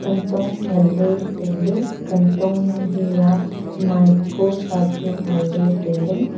kantho ngan ley tai ley kantho hi aa maipuasa chu ngan ley tailey.